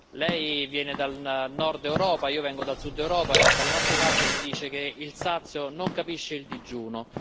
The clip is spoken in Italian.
Lei viene dal nord Europa e io vengo dal sud Europa e dalle nostre parti si dice che il sazio non capisce il digiuno.